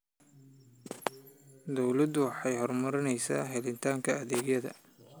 Dawladdu waxay horumarinaysaa helitaanka adeegyada.